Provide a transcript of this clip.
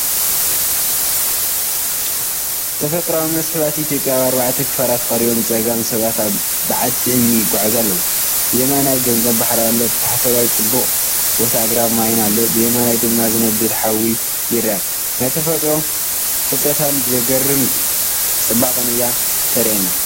ተፈጥሮኣዊ መስሕባት ኢትዮጵያ ኣብ ኣርባዕተ ክፋላት ቀሪቦም ብጸጋም ሰባት ኣብ በዓቲ እምኒ ይጓዓዙ ኣለዉ፣ ብየማን ገማግም ባሕሪ ኣሎ። ብታሕተዋይ ጽቡቕ ቦታ ኣግራብን ማይን ኣሎ፡ብየማን ድማ ዝነድድ ሓዊ ይርአ። ናይ ተፈጥሮ ፍልጠታን ዘገርም ጽባቐኣን እያ እተርእየኒ።